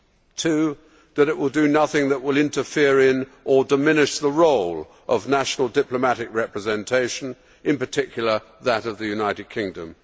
secondly, that it will do nothing that will interfere in or diminish the role of national diplomatic representation, in particular, that of the United Kingdom